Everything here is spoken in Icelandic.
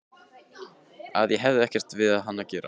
Að ég hefði ekkert við hann að gera.